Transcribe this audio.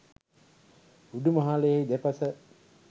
උඩුමහලෙහි දෙපස